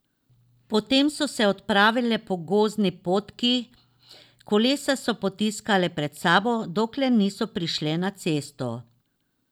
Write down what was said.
Potem so se odpravile po gozdni potki, kolesa so potiskale pred sabo, dokler niso prišle na cesto.